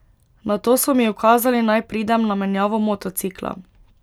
Nato so mi ukazali, naj pridem na menjavo motocikla.